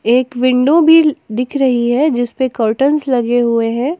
एक विंडो भी दिख रही है जिस पे कर्टेन्स लगे हुए हैं।